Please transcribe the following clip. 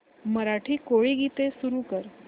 मराठी कोळी गीते सुरू कर